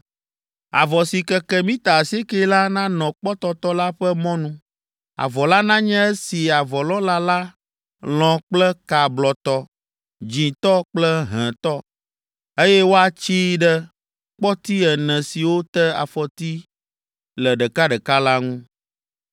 “Avɔ si keke mita asiekɛ la, nanɔ kpɔtɔtɔ la ƒe mɔnu. Avɔ la nanye esi avɔlɔ̃la la lɔ̃ kple ka blɔtɔ, dzĩtɔ kple hẽtɔ, eye woatsii ɖe kpɔti ene siwo te afɔti le ɖekaɖeka la ŋu.